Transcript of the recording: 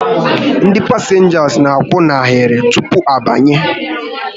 Ndị pasịnja n'akwụ n'ahịrị tupu ha abanye